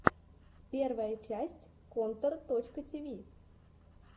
первая часть контор точка ти ви